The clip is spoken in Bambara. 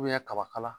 kaba kala